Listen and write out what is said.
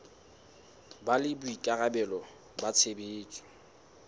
ba le boikarabelo ba tshebetso